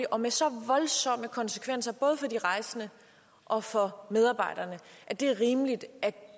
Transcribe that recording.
og med så voldsomme konsekvenser både for de rejsende og for medarbejderne at det er rimeligt at